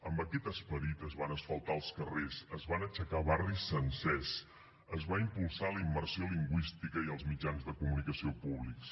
amb aquest esperit es van asfaltar els carrers es van aixecar barris sencers es va impulsar la immersió lingüística i els mitjans de comunicació públics